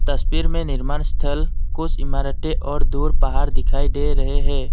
तस्वीर में निर्माणस्थल कुछ इमारतें और दूर पहाड़ दिखाई दे रहे हैं।